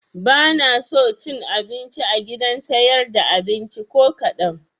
Banaso cin abinci a gidan siyar da abinci ko kaɗan